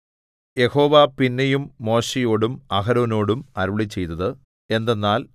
യഹോവ പിന്നെയും മോശെയോടും അഹരോനോടും അരുളിച്ചെയ്തത് എന്തെന്നാൽ